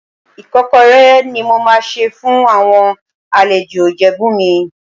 Ìkọ́kọrẹ́ ni mo máa sè fún àwọn àlejò Ìjẹ̀bú mi.